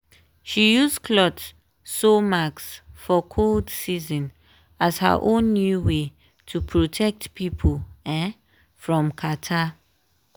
she use cloth sew mask for cold season as her own new way to protect pipo um from catarrh.